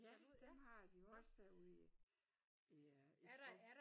Ja dem har de jo også derude i i skoven